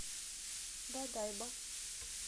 бодайбо